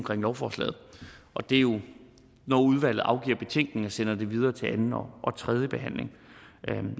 om lovforslaget og det er jo når udvalget afgiver betænkning og sender det videre til anden og tredje behandling